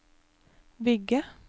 bygge